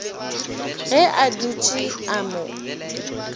ge a dutše a mo